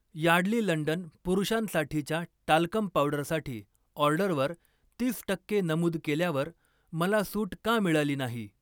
Yardley London पुरुषांसाठीच्या talcum पावडरसाठी ऑर्डरवर तीस टक्के नमूद केल्यावर मला सूट का मिळाली नाही?